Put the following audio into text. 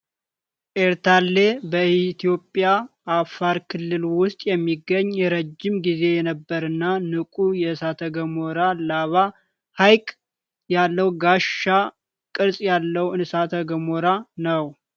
ኤርታሌ በእትዮጵያ አፋር ክልል ውስጥ የሚገኝ፣ ረጅም ጊዜ የነበረና ንቁ የእሳተ ገሞራ ላቫ ሐይቅ ያለው ጋሻ ቅርጽ ያለው እሳተ ገሞራ ነው።